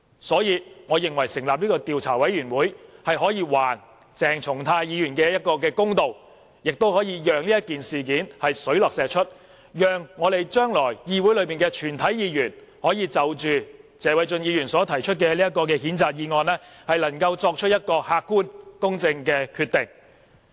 所以，我認為成立調查委員會，可以還鄭松泰議員一個公道，也可以令這件事水落石出，讓議會裏的全體議員，可以就謝偉俊議員提出的譴責議案，作出客觀和公正的決定。